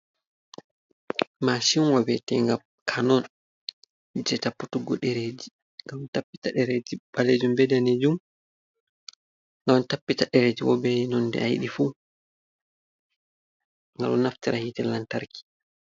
Mashinwa we'ete nga Canon, je tapputuggo ɗereji ɓalejum, be danejum, ngaɗon tappita ɗereji bo bei nonde ayiɗi fuu, ngaɗo naftira be hite lantarki.